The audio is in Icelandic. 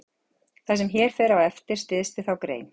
Það sem hér fer á eftir styðst við þá grein.